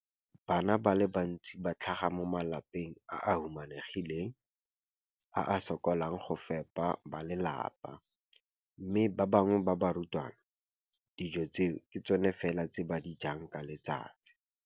Bana ba le bantsi ba tlhaga mo malapeng a a humanegileng a a sokolang go ka fepa ba lelapa mme ba bangwe ba barutwana, dijo tseo ke tsona fela tse ba di jang ka letsatsi.